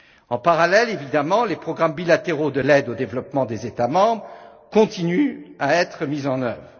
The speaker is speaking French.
En parallèle, évidemment, les programmes bilatéraux de l'aide au développement des États membres continuent à être mis en œuvre.